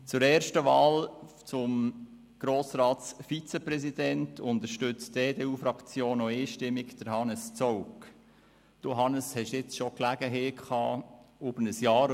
Zuerst zur Wahl zum Grossratsvizepräsidenten: Die EDU-Fraktion unterstützt auch einstimmig Han- nes Zaugg.